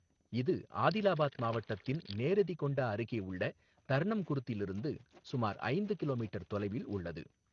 இது ஆதிலாபாத் மாவட்டத்தின் நேரெதிகொண்டா அருகே உள்ள தர்ணம் குர்திலிருந்து சுமார் ஐந்து கிலோமீட்டர் தொலைவில் உள்ளது.